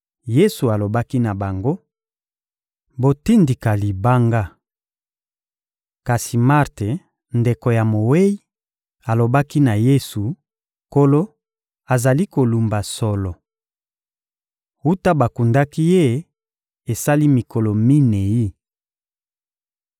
Yesu alobaki na bango: — Botindika libanga. Kasi Marte, ndeko ya mowei, alobaki na Yesu: — Nkolo, azali kolumba solo! Wuta bakundaki ye, esali mikolo minei.